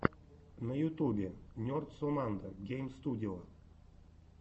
на ютубе нерд соммандо гейм студио